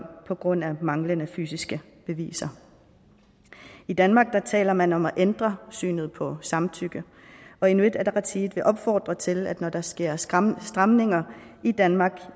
på grund af manglende fysiske beviser i danmark taler man om at ændre synet på samtykke og inuit ataqatigiit vil opfordre til at når der sker stramninger stramninger i danmark